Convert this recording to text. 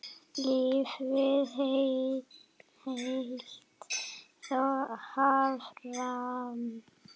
Lífið hélt þó áfram.